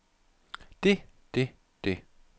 det det det